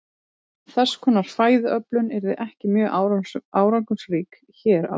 Þess konar fæðuöflun yrði ekki mjög árangursrík hér á landi.